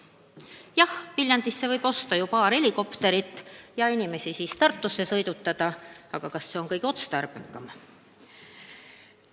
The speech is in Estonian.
Jah, Viljandisse võib osta paar helikopterit ja inimesi Tartusse sõidutada, aga kas see on kõige otstarbekam?